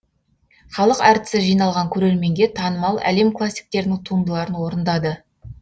халық әртісі жиналған көрерменге танымал әлем классиктерінің туындыларын орындады